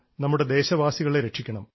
നമ്മുടെ ദേശവാസികളെ രക്ഷിക്കണം